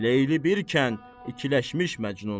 Leyli birkən, ikiləşmiş məcnun.